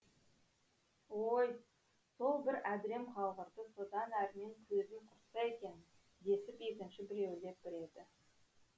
ой сол бір әдірем қалғырды содан әрмен көзін құртса екен десіп екінші біреуі лепіреді